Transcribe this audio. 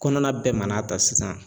Kɔnɔna bɛɛ ma na ta sisan